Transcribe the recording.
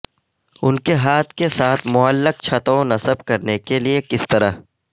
ان کے ہاتھ کے ساتھ معلق چھتوں نصب کرنے کے لئے کس طرح